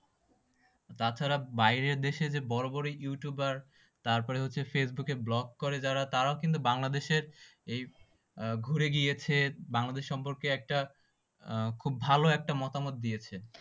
তাছাড়া বাইরের দেশে যে বড় বড় youtuber তারপরে হচ্ছে ফেসবুকে vlog করে যারা তারাও কিন্তু বাংলাদেশে এই ঘুরে গিয়েছে। বাংলাদেশ সম্পর্কে একটা খুব ভাল একটা মতামত দিয়েছে।